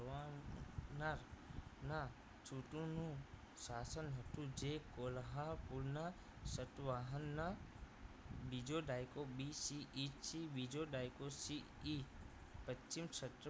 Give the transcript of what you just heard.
ના ના સુતોનું શાસન હતુ જે કોલ્હાપુરના સતવાહનના બીજો દાયકો BCE થી બીજો દાયકો CE પશ્ચિમ